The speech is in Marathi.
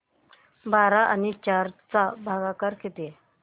बारा आणि चार चा भागाकर किती